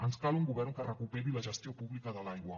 ens cal un govern que recuperi la gestió pública de l’aigua